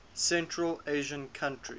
central asian countries